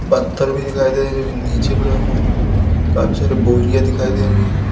पत्थर भी दिखाई दे रहे जोकि नीचे पड़े हुए हैं काफी सारी बोरियां दिखाई दे रही है।